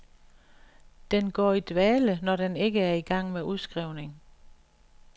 Den går i dvale, når den ikke er i gang med udskrivning.